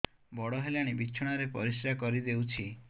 ବଡ଼ ହେଲାଣି ବିଛଣା ରେ ପରିସ୍ରା କରିଦେଉଛି